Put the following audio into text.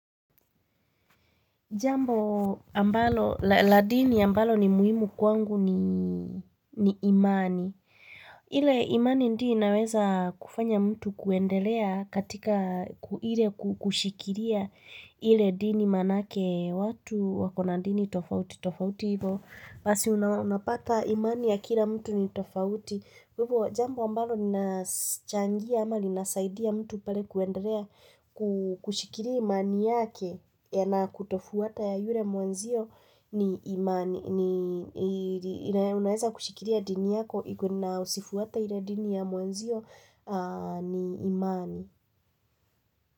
Jambo ambalo, la dini ambalo ni muhimu kwangu ni ni imani. Ile imani ndiyo inaweza kufanya mtu kuendelea katika kuhile kushikilia ili dini manake watu wakona dini tofauti tofauti hivo. Basi unapata imani ya kila mtu ni tofauti. Kwa hivo jambo ambalo linachangia ama linasaidia mtu pale kuendelea kushikilia imani yake na kutofuata ya yule mwenzio ni imani. Unaweza kushikilia dini yako na situated ile ya dini ya mwenzio ni imani.